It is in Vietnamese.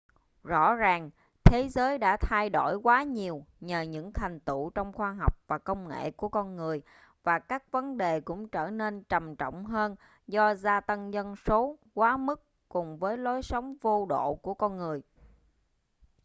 rõ ràng thế giới đã thay đổi quá nhiều nhờ những thành tựu trong khoa học và công nghệ của con người và các vấn đề cũng trở nên trầm trọng hơn do gia tăng dân số quá mức cùng với lối sống vô độ của con người